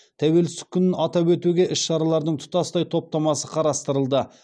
тәуелсіздік күнін атап өтуге іс шаралардың тұтастай топтамасы қарастырылды